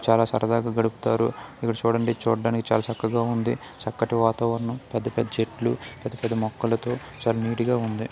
చాలా సరదాగా గడుపుతారు. ఇక్కడ చూడడండి చూడడానికి చాలా చక్కగా ఉంది. చక్కటి వాతావరణం పెద్ద పెద్ద చెట్లు పెద్ద పెద్ద మొక్కలతో చాలా నీటిగా ఉంది.